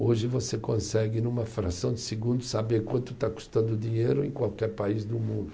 Hoje você consegue, numa fração de segundos, saber quanto está custando o dinheiro em qualquer país do mundo.